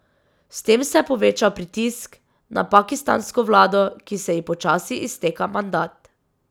S tem se je povečal pritisk na pakistansko vlado, ki se ji počasi izteka mandat.